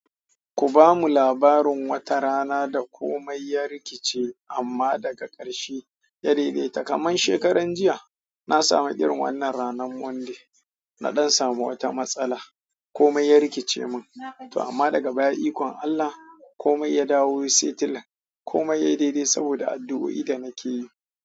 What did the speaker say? Ku ba mu labarin wata rana da komai ya rikice amma daga ƙarshe ya daidaita. Kaman shekaran jiya, na sami irin wannan ranar Monday, na don samu wata matsala. Komai ya rikice min, amma daga baya ikon Allah komai ya dawo sai tila komai ya yi daidai saboda addu'o'i da nake yi.